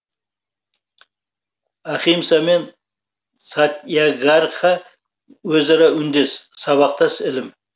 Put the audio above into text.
ахимса мен сатьягрха өзара үндес сабақтас ілім